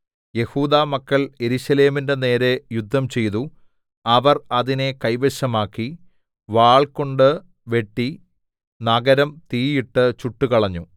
യെഹൂദാമക്കൾ യെരൂശലേമിന്റെ നേരെ യുദ്ധംചെയ്തു അവർ അതിനെ കൈവശമാക്കി വാൾകൊണ്ട് വെട്ടി നഗരം തീയിട്ട് ചുട്ടുകളഞ്ഞു